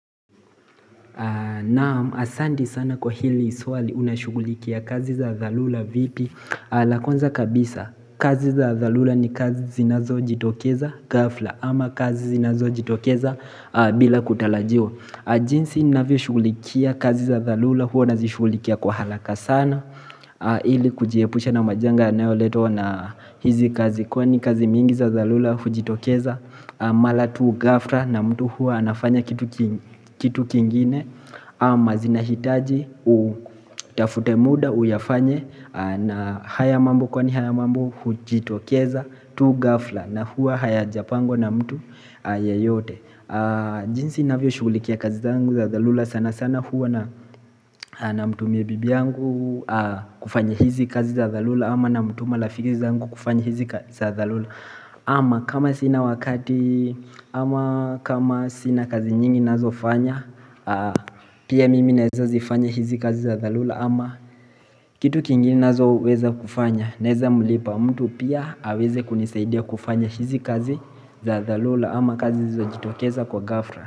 Naam, asanti sana kwa hili swali, unashughulikia kazi za dharura vipi? La kwanza kabisa, kazi za dharura ni kazi zinazojitokeza ghafla ama kazi zinazojitokeza bila kutarajiwa. Jinsi ninavyoshughulikia kazi za dharura huwa nazishughulikia kwa haraka sana, ili kujiepusha na majanga yanayoletwa na hizi kazi kwani kazi mingi za dharura hujitokeza Mara tu ghafla na mtu huwa anafanya kitu kingine, ama zinahitaji utafute muda uyafanye na haya mambo kwani haya mambo hujitokeza tu ghafla na huwa hayajapangwa na mtu yeyote. Jinsi navyoshughulikia kazi zangu za dharura sana sana huwa namtumia bibi yangu kufanya hizi kazi za dharura ama namtuma rafiki zangu kufanya hizi kazi za dharura. Ama kama sina wakati ama kama sina kazi nyingi nazofanya Pia mimi naeza zifanya hizi kazi za dharura ama Kitu kingine nazoweza kufanya, naweza mlipa mtu pia aweze kunisaidia kufanya hizi kazi za dharura ama kazi zojitokeza kwa ghafla.